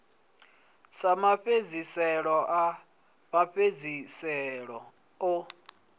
sa mafhedziselo a mafhedziselo o